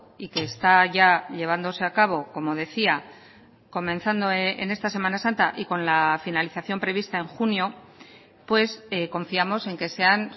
y que está ya llevándose a cabo como decía comenzando en esta semana santa y con la finalización prevista en junio pues confiamos en que sean